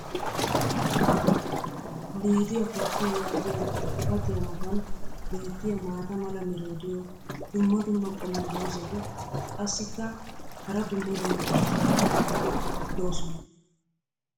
"LIDIYA COFEE" yaagiya xifatiya matan beetiya maata mala meray diyo dumma dumma qommo dozzati qassikka hara dumma dumma irxxabati doosona.